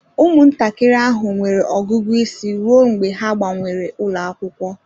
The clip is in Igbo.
Ụmụntakịrị ahụ nwere ọgụgụ isi ruo mgbe ha gbanwere ụlọ akwụkwọ